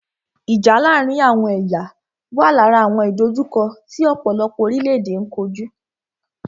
Ìjà láàárín àwọn ẹ̀yà wà lára àwọn ìdòjukọ́ tí ọ̀pọ̀lọpọ̀ orílẹ̀-èdè n kojú.